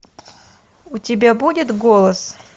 у тебя будет голос